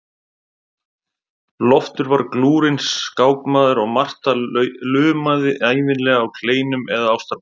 Loftur var glúrinn skákmaður og Marta lumaði ævinlega á kleinum eða ástarpungum.